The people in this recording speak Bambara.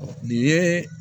Nin ye